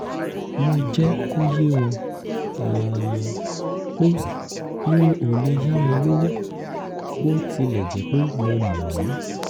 mo jẹ́ kó yé wọn um pé mi ò lè yá wọn lówó bó tilẹ̀ jẹ́ pé mo mọ̀ wọ́n